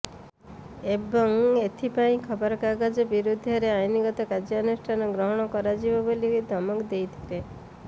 ଏବଂ ଏଥିପାଇଁ ଖବରକାଗଜ ବିରୋଧରେ ଆଇନଗତ କାର୍ଯ୍ୟାନୁଷ୍ଠାନ ଗ୍ରହଣ କରାଯିବ ବୋଲି ଧମକ ଦେଇଥିଲେ